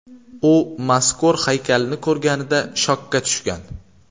U mazkur haykalni ko‘rganida shokka tushgan.